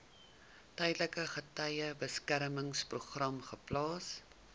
tydelike getuiebeskermingsprogram geplaas